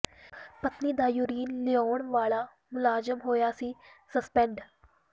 ਪਤਨੀ ਦਾ ਯੂਰਿਨ ਲਿਆਉਣ ਵਾਲਾ ਮੁਲਾਜ਼ਮ ਹੋਇਆ ਸੀ ਸਸਪੈਂਡ